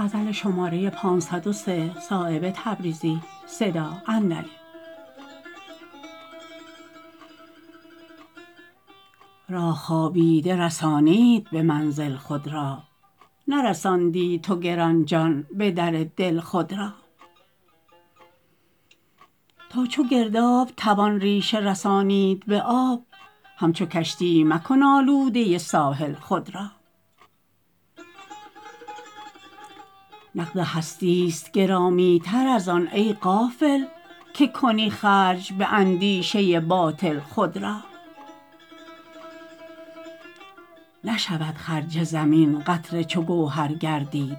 راه خوابیده رسانید به منزل خود را نرساندی تو گرانجان به در دل خود را تا چو گرداب توان ریشه رسانید به آب همچو کشتی مکن آلوده ساحل خود را نقد هستی است گرامی تر ازان ای غافل که کنی خرج به اندیشه باطل خود را نشود خرج زمین قطره چو گوهر گردید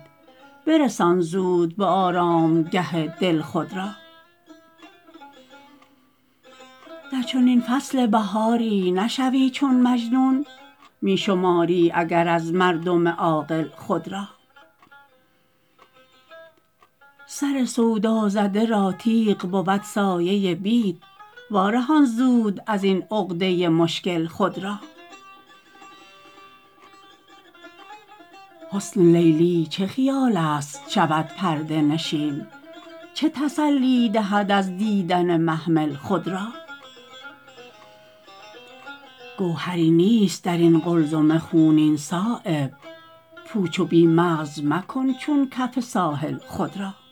برسان زود به آرامگه دل خود را در چنین فصل بهاری نشوی چون مجنون می شماری اگر از مردم عاقل خود را سر سودازده را تیغ بود سایه بید وارهان زود ازین عقده مشکل خود را حسن لیلی چه خیال است شود پرده نشین چه تسلی دهی از دیدن محمل خود را گوهری نیست درین قلزم خونین صایب پوچ و بی مغز مکن چون کف ساحل خود را